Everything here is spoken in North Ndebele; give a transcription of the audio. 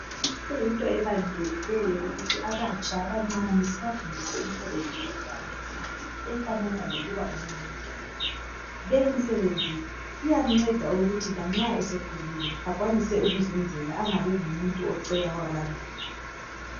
Kuyinto ebalulekileyo ukuthi abatsha abancane sibafundise imisebenzi yezandla efanana leyokuba ngu welder leyi misebenzi iyamnceda ukuthi lanxa esekhulile akwanise ukuzenzela angabi ngumuntu ocela kwabanye.